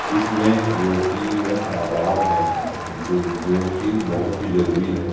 इसमें रोटियों का अभाव है जो जो कि बहुत ही जरूरी है।